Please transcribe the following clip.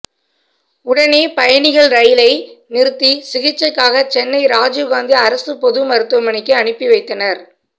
உடனே பயணிகள் ரெயிலை நிறுத்தி சிகிச்சைக்காக சென்னை ராஜீவ்காந்தி அரசு பொதுமருத்துவமனைக்கு அனுப்பி வைத்தனர்